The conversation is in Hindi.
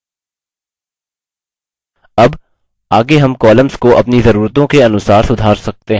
अब आगे हम columns को अपनी ज़रूरतों के अनुसार सुधार सकते हैं